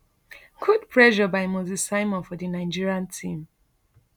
good pressure by moses simon for di nigeria team